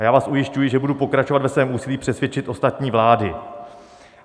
A já vás ujišťuji, že budu pokračovat ve svém úsilí přesvědčit ostatní vlády.